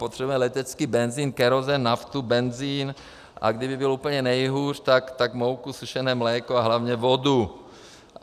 Potřebujeme letecký benzin, kerosin, naftu, benzin, a kdyby bylo úplně nejhůř, tak mouku, sušené mléko a hlavně vodu.